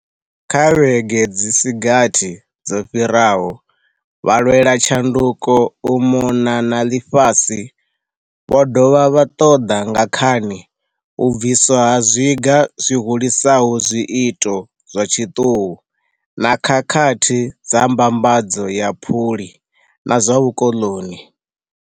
Kha vhege dzi si gathi dzo fhiraho, vhalwelatshanduko u mona na ḽifhasi vho dovha vha ṱoḓa nga khani u bviswa ha zwiga zwi hulisaho zwiito zwa tshiṱuhu na khakhathi dza mbambadzo ya phuli na zwa vhukoḽoni.